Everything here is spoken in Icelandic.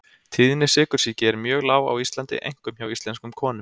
Tíðni sykursýki er mjög lág á Íslandi einkum hjá íslenskum konum.